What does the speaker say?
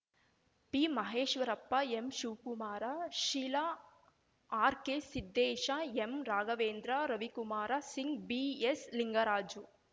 ಬಿಮಹೇಶ್ವರಪ್ಪ ಎಂಶಿವಕುಮಾರ Sheila ಆರ್‌ಕೆಸಿದ್ದೇಶ ಎಂರಾಘವೇಂದ್ರ Ravikumar Singh B S Lingaraju